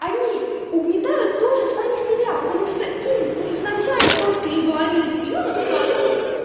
они угнетают тоже сами себя потому что им ну изначально просто им говорили с пелёнок что они